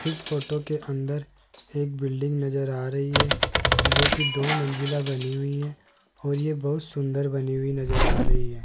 इस फोटो के अंदर एक बिल्डिंग नजर आ रही है जो की दो मंजिला बनी हुई है और ये बहोत सुंदर बनी हुई नजर आ रही है।